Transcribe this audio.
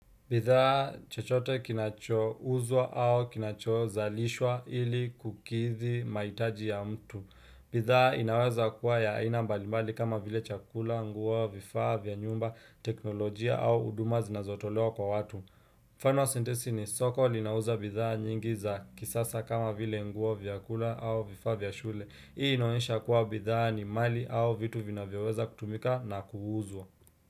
Bidhaa chochote kinachouzwa au kinachozalishwa ili kukithi maitaji ya mtu. Bithaa inaweza kuwa ya aina mbalimali kama vile chakula, nguo, vifaa, vya nyumba, teknolojia au huduma zinazotolewa kwa watu. Mfano wa sentensi ni soko linauza bidhaa nyingi za kisasa kama vile nguo, vyakula au vifaa, vya shule. Hii inaoesha kuwa bidhaa ni mali au vitu vinayoweza kutumika na kuuuzwa.